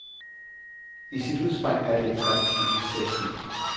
I sit udspring er det et flot initiativ.